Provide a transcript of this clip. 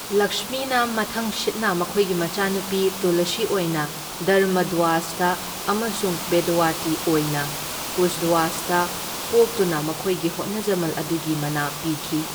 ꯂꯛꯁꯃꯤꯅ ꯃꯊꯪꯁꯤꯠꯅ ꯃꯈꯣꯏꯒꯤ ꯃꯆꯥꯅꯨꯄꯤ ꯇꯨꯂꯁꯤ ꯑꯣꯏꯅ ꯙꯔꯃꯙ꯭ꯋꯖꯗ ꯑꯃꯁꯨꯡ ꯕꯦꯗꯋꯇꯤ ꯑꯣꯏꯅ ꯀꯨꯁꯙ꯭ꯋꯖꯗ ꯄꯣꯛꯇꯨꯅ ꯃꯈꯣꯏꯒꯤ ꯍꯣꯠꯅꯖꯃꯜ ꯑꯗꯨꯒꯤ ꯃꯅꯥ ꯄꯤꯈꯤ꯫